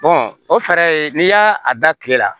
o fɛɛrɛ n'i y'a da kile la